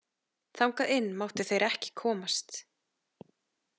Þangað inn máttu þeir ekki komast.